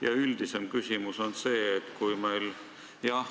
Ja üldisem küsimus on selline.